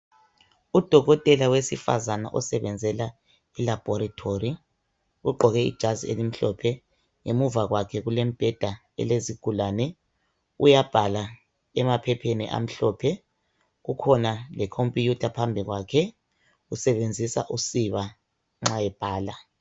dokotela wesifazana osebenzela e laboratory ugqoke ijazi elimhlophe ngemuva kwakhe kulemibheda elezigulane uyabhala emaphepheni amhlophe kukhona le computer phambi kwakhe usebenzisa usiba nxa ebhala